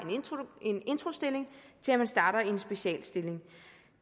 en introstilling til man starter i en specialstilling